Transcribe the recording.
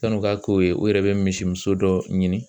San'u ka k'o ye u yɛrɛ bɛ misi muso dɔ ɲini